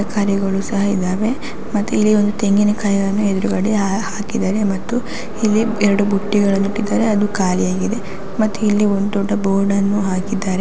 ತರಕಾರಿಗಳು ಸಹ ಇದ್ದವೇ ಮತ್ತೆ ಇಲ್ಲಿ ಒಂದು ತೆಂಗಿನಕಾಯಿಯನ್ನು ಎದುರುಗಡೆ ಹಾ ಹಾಕಿದ್ದಾರೆ ಮತ್ತು ಇಲ್ಲಿ ಎರಡು ಬುಟ್ಟಿಗಳನ್ನೂ ಇಟ್ಟಿದದ್ದಾರೆ ಅದು ಖಾಲೀ ಆಗಿದೆ ಮತ್ತೆ ಇಲಿ ಒಂದು ದೊಡ್ಡ ಬೋರ್ಡ್ ಅನ್ನು ಹಾಕಿದ್ದಾರೆ.